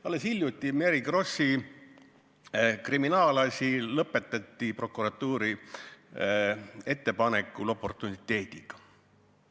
Alles hiljuti Mary Krossi kriminaalasi lõpetati prokuratuuri ettepanekul oportuniteediga.